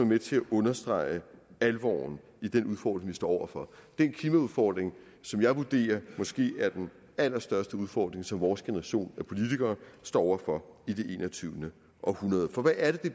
med til at understrege alvoren i den udfordring vi står over for den klimaudfordring som jeg vurderer måske er den allerstørste udfordring som vores generation af politikere står over for i det enogtyvende århundrede for hvad er det det